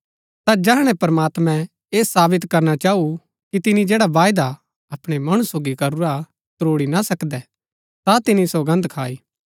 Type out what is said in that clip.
ता जैहणै प्रमात्मैं ऐह सावित करना चाऊ कि तिनी जैड़ा वायदा अपणै मणु सोगी करूरा हा त्रोड़ी ना सकदै ता तिनी सौगन्द खाई